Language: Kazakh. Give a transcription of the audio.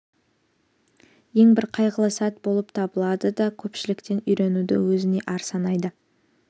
ең бір қайғылы сәт болып табылады да көпшіліктен үйренуді өзіне ар санайды